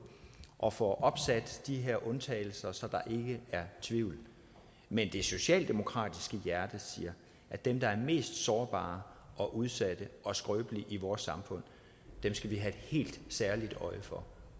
og får opsat de her undtagelser så der ikke er tvivl men det socialdemokratiske hjerte siger at dem der er mest sårbare og udsatte og skrøbelige i vores samfund skal vi have et helt særligt øje for